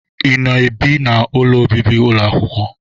Ị na-ebi n'ụlọ obibi ụlọ akwụkwọ?